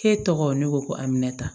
K'e tɔgɔ ne ko amina ta